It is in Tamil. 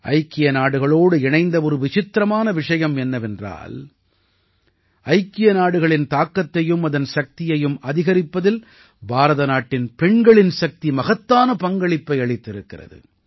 ஐக்கிய நாடுகளோடு இணைந்த ஒரு விசித்திரமான விஷயம் என்னவென்றால் ஐக்கிய நாடுகளின் தாக்கத்தையும் அதன் சக்தியையும் அதிகரிப்பதில் பாரத நாட்டின் பெண்களின் சக்தி மகத்தான பங்களிப்பை அளித்திருக்கிறது